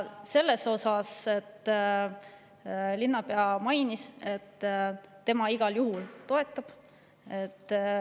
Selle kohta linnapea mainis, et tema igal juhul toetab seda.